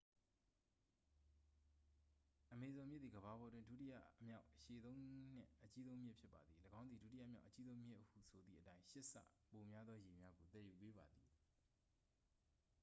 အမေဇုန်မြစ်သည် ကမ္ဘာပေါ်တွင် ဒုတိယမြောက်အရှည်ဆုံးနှင့် အကြီးဆုံးမြစ်ဖြစ်ပါသည် ၎င်းသည် ဒုတိယမြောက်အကြီးဆုံးမြစ်ဟုဆိုသည့်အတိုင်း 8 ဆပိုများသောရေများကို သယ်ယူပေးပါသည်